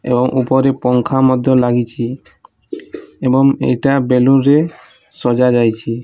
ଏବଂ ଉପରେ ପଙ୍ଖା ମଧ୍ୟ ଲାଗିଚି ଏବଂ ଏଇଟା ବେଲୁନ ରେ ସଜାଯାଇଛି।